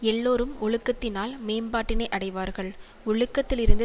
எல்லோரும் ஒழுக்கத்தினால் மேம்பாட்டினை அடைவார்கள் ஒழுக்கத்திலிருந்து